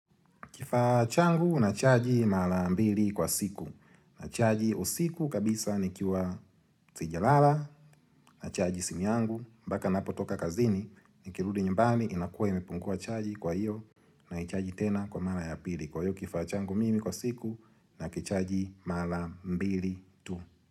Kifaa changu nachaji mara mbili kwa siku Nachaji usiku kabisa nikiwa sijalala, nachaji simu yangu, mpaka ninapotoka kazini, nikirudi nyumbani inakua imepungua chaji kwa hiyo na naichaji tena kwa mara ya pili. Kwa hiyo, kifaa changu mimi kwa siku na nakichaji mara mbili tu.